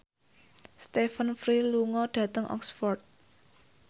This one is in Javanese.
Stephen Fry lunga dhateng Oxford